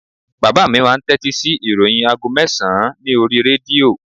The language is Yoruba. Bàbá mi máà ń tẹ́tí sí ìròyìn aago mẹ́sàn-án ní oríi rédíò